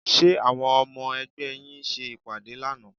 Ṣé àwọn ọmọ ẹgbẹ́ yín ṣe ìpàdé lánàá?